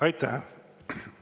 Aitäh!